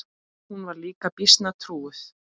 Hún var líka býsna trúuð.